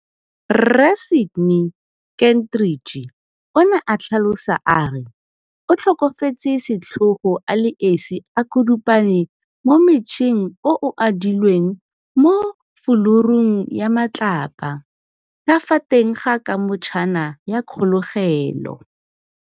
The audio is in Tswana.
Rre Sydney Kentridge, o ne a tlhalosa a re o tlhokafetse setlhogo a le esi a kudupane mo mmetsheng o o adilweng mo fulurung ya matlapa ka fa teng ga kamotshana ya kgolegelo.